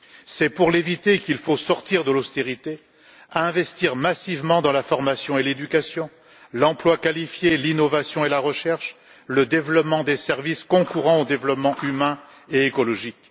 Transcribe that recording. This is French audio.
C'est pour l'éviter qu'il faut sortir de l'austérité, investir massivement dans la formation et l'éducation, l'emploi qualifié, l'innovation et la recherche ainsi que dans le développement des services concourant au développement humain et écologique.